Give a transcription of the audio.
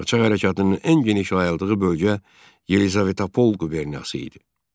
Qaçaq hərəkatının ən geniş yayıldığı bölgə Yelizavetpol quberniyası idi.